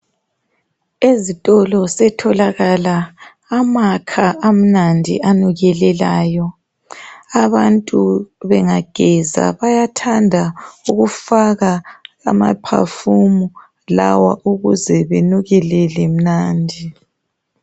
Ezitolo setholakala amakha amnandi anukelelayo. Abantu bengageza bayathanda ukufaka amaphafumi lawa ukuze benukelele mnandi.